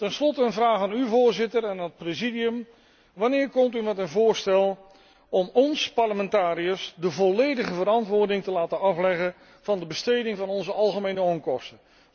Ten slotte een vraag aan u, Voorzitter, en aan het Presidium wanneer komt u met een voorstel om ons, parlementariërs de volledige verantwoording te laten afleggen van de besteding van onze algemene onkosten?